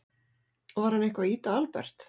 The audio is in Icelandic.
Var hann eitthvað að ýta á Albert?